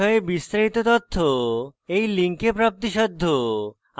এই বিষয়ে বিস্তারিত তথ্য এই লিঙ্কে প্রাপ্তিসাধ্য